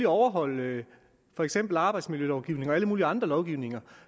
overholde for eksempel arbejdsmiljølovgivning og alle mulige andre lovgivninger